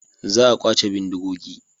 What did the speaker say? Za a kwace bindigogi.